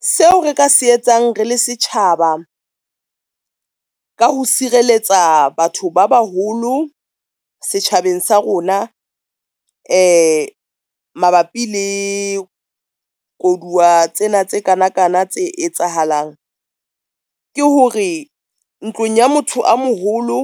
Seo re ka se etsang rele setjhaba, ka ho sireletsa batho ba baholo setjhabeng sa rona mabapi le koduwa tsena tse kana kana tse etsahalang, ke hore ntlong ya motho a moholo,